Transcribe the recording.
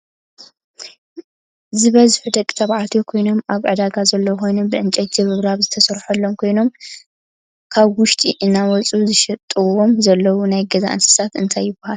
ዝበዝሑ ደቂ ተባዕትዮ ኮይኖም ኣብ ዒዳጋ ዘለው ኮይኖም ብዕንጨይቲ ርብራብ ዝተሰረሐሎም ኮይኖም ካብ ውሽጢ እናውፅኡ ዝሸጥዎም ዘለው ናይ ገዛ እንስሳ እንታይ ይብሃሉ?